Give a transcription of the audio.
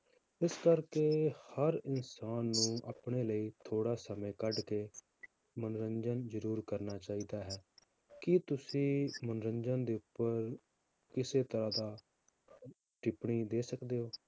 ਇਸ ਕਰਕੇ ਹਰ ਇਨਸਾਨ ਨੂੰ ਆਪਣੇ ਲਈ ਥੋੜ੍ਹਾ ਸਮੇਂ ਕੱਢ ਕੇ ਮਨੋਰੰਜਨ ਜ਼ਰੂਰ ਕਰਨਾ ਚਾਹੀਦਾ ਹੈ, ਕੀ ਤੁਸੀਂ ਮਨੋਰੰਜਨ ਦੇ ਉੱਪਰ ਕਿਸੇ ਤਰ੍ਹਾਂ ਦਾ ਟਿੱਪਣੀ ਦੇ ਸਕਦੇ ਹੋ।